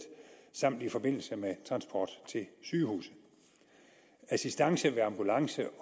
samt i forbindelse med transport til sygehuset assistance ved ambulance